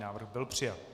Návrh byl přijat.